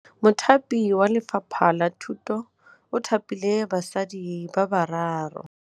Mothapi wa Lefapha la Thutô o thapile basadi ba ba raro.